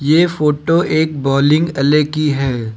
ये फोटो एक बोलिंग वाले की है।